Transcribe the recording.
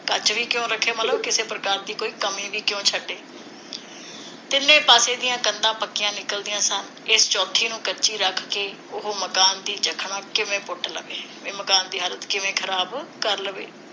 ਕੱਚ ਵੀ ਕਿਉਂ ਰੱਖੇ ਮਤਲਬ ਕਿਸੇ ਪ੍ਰਕਾਰ ਦੀ ਕੋਈ ਕਮੀ ਵੀ ਕਿਓਂ ਛੱਡੇ? ਤਿੰਨੇ ਪਾਸਿਆਂ ਦੀਆਂ ਕੰਧਾਂ ਪੱਕੀਆਂ ਨਿਕਲਦੀਆਂ ਸਨ। ਇਸ ਚੌਥੀ ਨੂੰ ਕੱਚੀ ਰੱਖ ਕੇ ਉਹ ਮਕਾਨ ਦੀ ਜੱਖਣਾ ਕਿਵੇਂ ਪੁੱਟ ਲਵੇ? ਬਈ ਮਕਾਨ ਦੀ ਹਾਲਤ ਕਿਵੇਂ ਖਰਾਬ ਕਰ ਲਵੇ?